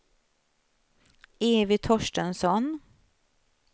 Evy Torstensson